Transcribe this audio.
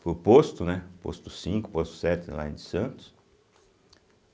para o posto, né, posto cinco, posto sete, lá em Santos.